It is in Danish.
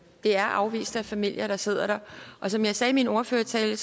er afviste familier der sidder der som jeg sagde i min ordførertale